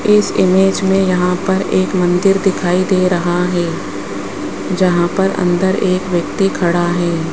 इस इमेज में यहां पर एक मंदिर दिखाई दे रहा है जहां पर अंदर एक व्यक्ति खड़ा है।